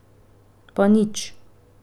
Pa nič.